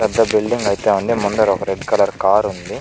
పెద్ద బిలిడింగ్ ఐతే ఉంది. ముందట ఒక రెడ్ కలర్ కార్ --